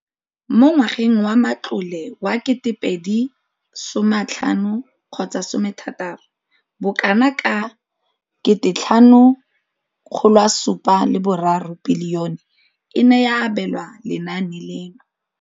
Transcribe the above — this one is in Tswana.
Mo ngwageng wa matlole wa 2015-2016, bokanaka R5 703 bilione e ne ya abelwa lenaane leno.